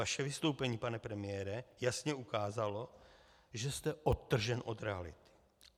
Vaše vystoupení, pane premiére, jasně ukázalo, že jste odtržen od reality.